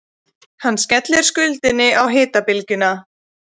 Hann skellir skuldinni á hitabylgjuna